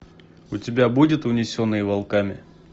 у тебя будет унесенные волками